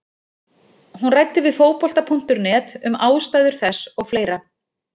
Hún ræddi við Fótbolta.net um ástæður þess og fleira.